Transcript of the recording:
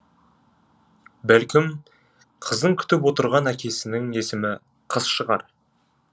бәлкім қыздың күтіп отырған әкесінің есімі қыс шығар